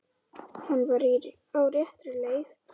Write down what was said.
Hann var á réttri leið.